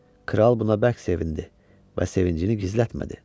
Kral buna bərk sevindi və sevincini gizlətmədi.